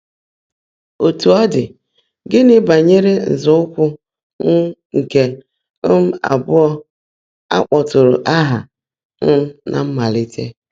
Ótú ó ḍị́, gị́ní bányèré nzọ́ụ́kwụ́ um nkè um abụọ́ á kpọ́tụ́ụ́rụ́ áhá um ná mmáliiìté?